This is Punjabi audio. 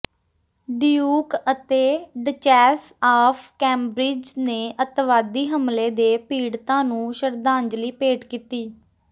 ਡਿਊਕ ਅਤੇ ਡਚੈਸ ਆਫ ਕੈਮਬ੍ਰਿਜ ਨੇ ਅੱਤਵਾਦੀ ਹਮਲੇ ਦੇ ਪੀੜਤਾਂ ਨੂੰ ਸ਼ਰਧਾਂਜਲੀ ਭੇਟ ਕੀਤੀ